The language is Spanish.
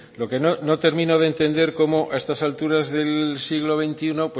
lo que no termino de entender cómo a estas alturas del siglo veintiuno